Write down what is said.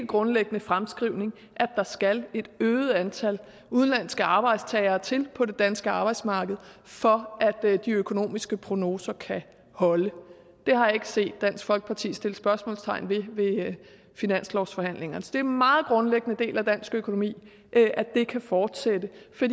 grundlæggende fremskrivning at der skal et øget antal udenlandske arbejdstagere til på det danske arbejdsmarked for at de økonomiske prognoser kan holde det har jeg ikke set dansk folkeparti sætte spørgsmålstegn ved ved finanslovsforhandlingerne det er en meget grundlæggende del af dansk økonomi at det kan fortsætte